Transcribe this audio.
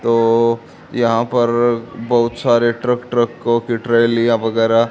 तो यहां पर बहोत सारे ट्रक ट्रकों की ट्रैलियां वगैरह--